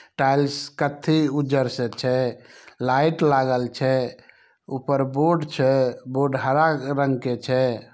Tiles कथ्थी उजर से छै। लाइट लागल छै ऊपर बोर्ड छै बोर्ड हरा रंग के छै।